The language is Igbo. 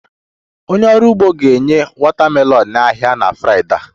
Onye ọrụ ugbo ga-enye watermelon n'ahịa na Fraịdee a